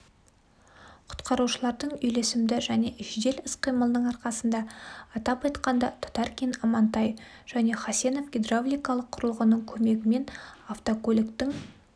құтқарушылардың үйлесімді және жедел іс-қимылының арқасында атап айтқанда татаркин амантай және хасенов гидравликалық құрылғының көмегімен автокөліктің